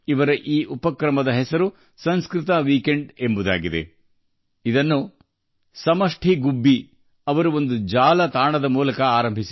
ಈ ಉಪಕ್ರಮದ ಹೆಸರು ಸಂಸ್ಕೃತ ವಾರಾಂತ್ಯ ಇದನ್ನು ಸಮಷ್ಟಿ ಗುಬ್ಬಿ ಜಿಯವರು ವೆಬ್ಸೈಟ್ ಮೂಲಕ ಪ್ರಾರಂಭಿಸಿದ್ದಾರೆ